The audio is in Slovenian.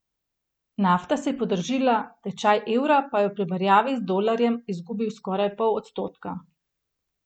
Nafta se je podražila, tečaj evra pa je v primerjavi z dolarjem izgubil skoraj pol odstotka.